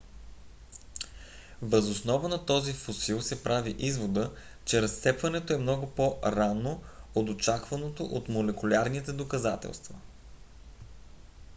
въз основа на този фосил се прави извода че разцепването е много по - рано от очакваното от молекулярните доказателства